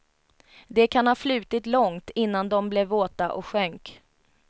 De kan ha flutit långt, innan de blev våta och sjönk.